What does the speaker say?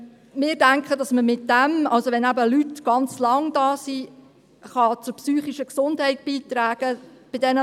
Wir denken, dass wir damit – wenn Leute schon lange hier sind – zu ihrer psychischen Gesundheit beitragen können.